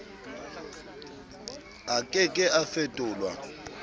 a ke ke a fetolwa